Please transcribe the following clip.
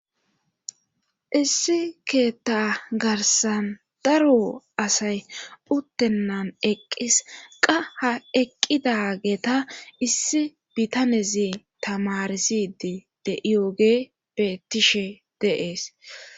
Issi keetta garsan daro asay uttennan eqqis qaha eqqidageta issi bitanezi tamarisidi de iyooge bettishe deees